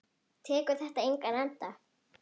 Tekur þetta engan enda?